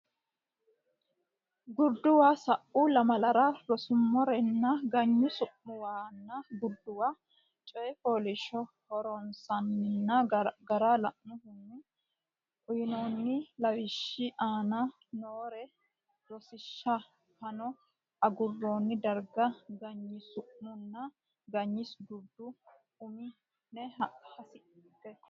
Gurduwa Sa u lamalara ronsummore ganyi su muwanna gurduwa coy fooliishsho horonsi nanni gara lainohunni uynoonni lawishshi aane noo rosiishshi fano aguroonni darga ganyi su manna ganyi gurda umi nenni hassine.